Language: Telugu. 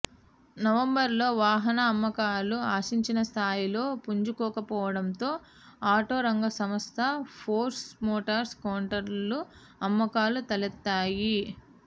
నవంబర్లో వాహన అమ్మకాలు ఆశించిన స్థాయిలో పుంజుకోకపోవడంతో ఆటో రంగ సంస్థ ఫోర్స్ మోటార్స్ కౌంటర్లో అమ్మకాలు తలెత్తాయి